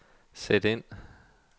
sæt ind